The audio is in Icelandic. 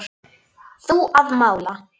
Þú að mála.